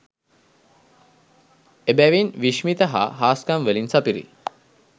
එබැවින් විශ්මිත හා හාස්කම් වලින් සපිරි